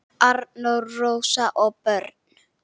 Arnór, Rósa og börn.